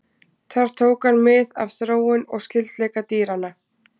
Þar tók hann mið af þróun og skyldleika dýranna.